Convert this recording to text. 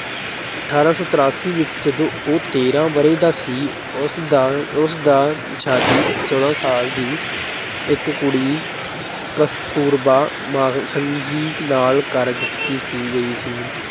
ਅਠਾਰਾਂ ਸੌ ਤਰਾਸੀ ਵਿੱਚ ਜਦੋਂ ਉਹ ਤੇਰ੍ਹਾਂ ਵਰ੍ਹੇ ਦਾ ਸੀ ਉਸਦਾ ਅਹ ਉਸਦਾ ਸ਼ਾਦੀ ਚੌਦਾਂ ਸਾਲ ਦੀ ਇੱਕ ਕੁੜੀ ਕਸਤੂਰਬਾ ਮਾਖਨਜੀ ਨਾਲ ਕਰ ਦਿੱਤੀ ਗਈ ਸੀ।